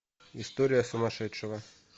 история сумасшедшего